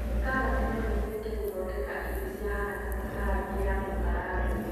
Karati no ĩhũthĩke gũthondeka irio cia haraka ta karati ya gũkarangwo